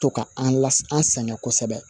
To ka an la an sɛgɛn kosɛbɛ